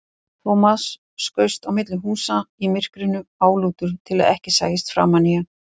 Thomas skaust á milli húsa í myrkrinu, álútur til að ekki sæist framan í hann.